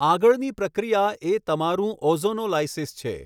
આગળની પ્રક્રિયા એ તમારું ઑઝોનોલાઈસિસ છે.